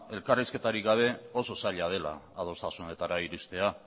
elkarrizketarik gabe oso zaila dela adostasunetara iristea